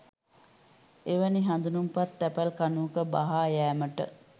එවැනි හැඳුනුම්පත් තැපැල් කණුවක බහා යැමට